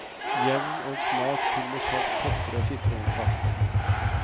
Jevn og smak til med salt, pepper og sitronsaft.